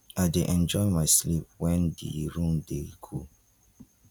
i dey enjoy my sleep wen di room dey cool